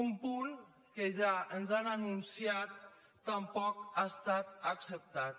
un punt que ja ens han anunciat tampoc ha estat acceptat